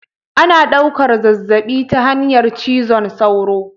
Ana ɗaukan zazzabi ta hanyar cizon sauro